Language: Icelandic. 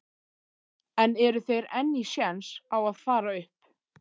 En eru þeir enn í séns á að fara upp?